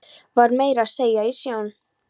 Var meira að segja í sjón